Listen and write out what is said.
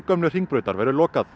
gömlu Hringbraut verður lokað